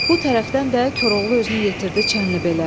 Bu tərəfdən də Koroğlu özünü yetirdi Çənlibelə.